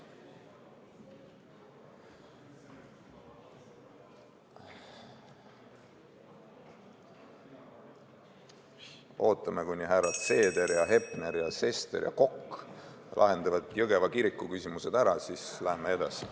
Me ootame, kuni härrad Seeder, Hepner, Sester ja Kokk lahendavad Jõgeva kiriku küsimused ära, siis läheme edasi.